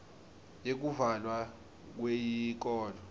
yekuvalwa kweyikolo